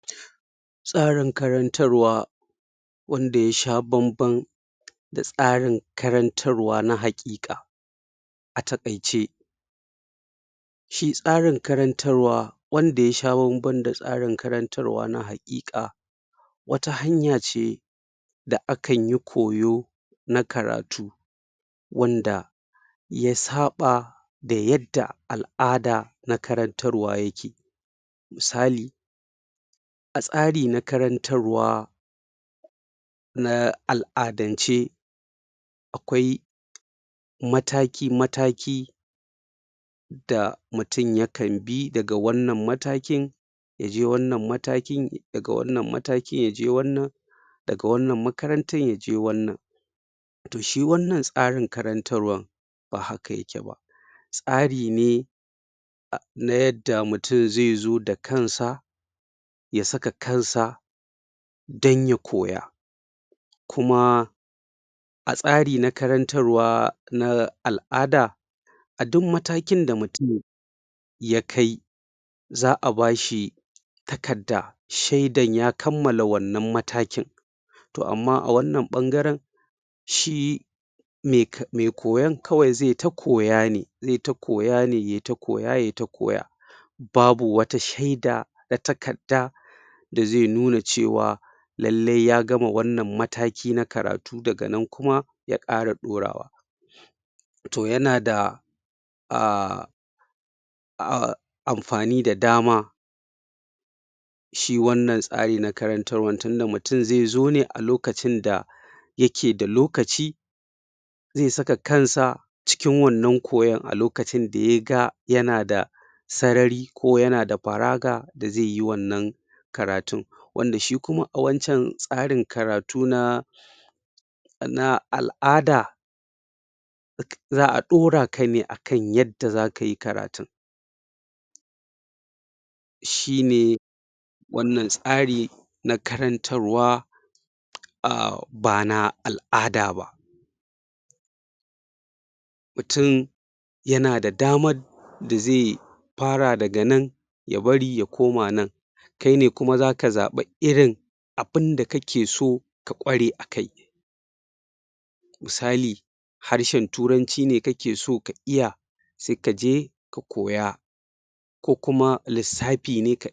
Ƴancin kai na haihuwa; ikon yanke shawara na gaskiya game da lafiyar haihuwar mutum, haƙƙin ɗan adam ne na asali. Duk da haka, mata a duniya suna fuskantar ƙalubale masu yawa wajen kiyaye wannan ƴancin kai. Waɗan nan ƙalubalen suna da saƙaƙƙiya kuma masu yawa, waɗan da suka taso daga abubuwan zamantakewa, al'adu, tattalin arziki, shari'a, da tsarin kiwon lafiya.? Shingayen zamantakewa da al'adu, su ne manyan cikas ga ƴancin kai, na haihuwa na mata a cikin al'ummomi. Mata na iya fuskantar matsin lamba daga dangi, al'umma, ko ƙa'idojin al'umma don dacewa da matsayin jinsi na gargajiya, suna iyakance zaɓin haihuwa. Abin kunya game da al'amuran kiwon lafiyar haihuwa, kamar zubar da ciki, ko hana haihuwa, na iya hana mata neman kulawa, bugu da ƙari kuma, ƙarancin samun ilimi na iya barin mata ba tare? da sanin ya kamata ba, don yanke shawara mai zurfi game da lafiyar haihuwa. Shingayen tattatlin arziki kuma, suna? taka muhimmiyar rawa wajen taƙaita ƴancin gashin kan mata. Talauci da rashin inshorar haihuwa, na iya sa mat wahala samun damar ayyukan kula da lafiyar haihuwar su. Shingayen sufuri musamman a yankunan karkara ko na nesa, na iya ƙara ta'azzara waɗan nan ƙalubale. Ana iya tilasta mata su zaɓi? tsakanin biyan kuɗin sabis na kiwon lafiyar haihuwa, ko biyan wasu muhimman buƙatu kamar abinci, ko gidaje. Shingayen doka da na siyasa kuma, na iya tauye ƴancin kai na haihuwa na mata. Dokokin ƙuntatawa da ke kula da zubar da ciki, hana haihuwa, ko wasu ayyukan kula da lafiyar haihuwa, na iya iyakanta damar mata na samun kulawa. Rashin tallafin manufofi, kamar rashin isassun kuɗaɗe don ayyukan kiwon lafiyar haihuwa, na iya haifar da shinge. Wariya a cikin saitunan kiwon lafiya, musamman a kan al'ummomin da aka ware, na iya ƙara lalata ƴancin kai na haihuwa na mata. A ƙarshe; shinge na sirri, da na mua'amalla kamar abokin tarayya, ko adawar dangi, tsoron tashin hankali, ko cin zarafi, matsalolin rashin lafiyar hankali, na iyakance ƴancin kai na haihuwa na mata. Waɗan nan shingen na iya zama ƙalubale, musamman don shawo kan su, saboda galibi suna haɗa da batutuwan sirri, da na zuciya. A ƙarshe; mata suna fuskantar ƙalubale da yawa, wajen kiyaye ƴancin kan su na haihuwa. Magance waɗan nan ƙalubalen, yana buƙatar cikakkiyar hanya wacce ta ƙunshi sauye-sauyen manufofi,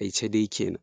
ilimi, da haɗin gwuiwar al'umma.